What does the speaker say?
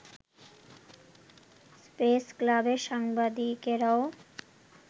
প্রেসক্লাবের সাংবাদিকরাও